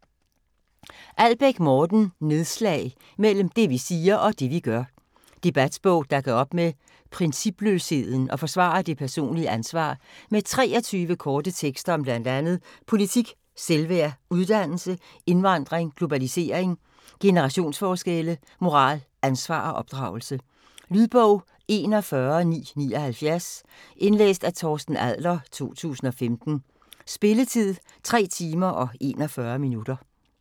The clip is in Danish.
Albæk, Morten: Nedslag - mellem det vi siger, og det vi gør Debatbog der gør op med principløsheden og forsvarer det personlige ansvar. Med 23 korte tekster om bl.a. politik, velfærd, uddannelse, indvandring, globalisering, generationsforskelle, moral, ansvar og opdragelse. Lydbog 41979 Indlæst af Torsten Adler, 2015. Spilletid: 3 timer, 41 minutter.